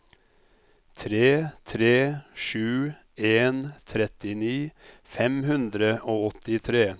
tre tre sju en trettini fem hundre og åttitre